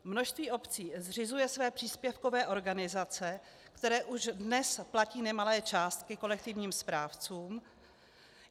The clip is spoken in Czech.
Množství obcí zřizuje své příspěvkové organizace, které už dnes platí nemalé částky kolektivním správcům.